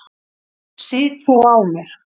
Sit þó á mér.